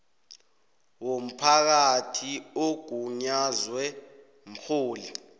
womphakathi ogunyazwe mrholi